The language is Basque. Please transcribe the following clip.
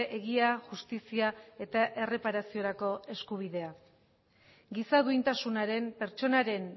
egia justizia eta erreparaziorako eskubidea giza duintasunaren pertsonaren